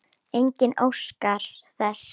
Enginn óskar þess.